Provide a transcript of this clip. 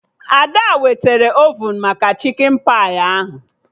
Ada wetara ovun maka chikin pai ahụ